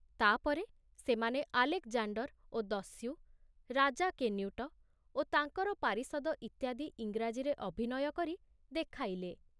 ତାପରେ ସେମାନେ ଆଲେକଜାଣ୍ଡର ଓ ଦସ୍ୟୁ, ରାଜା କେନ୍ୟୁଟ ଓ ତାଙ୍କର ପାରିଷଦ ଇତ୍ୟାଦି ଇଂରାଜୀରେ ଅଭିନୟ କରି ଦେଖାଇଲେ।